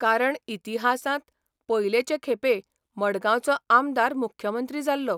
कारण इतिहासांत पयलेचे खेपे मडगांवचो आमदार मुख्यमंत्री जाल्लो.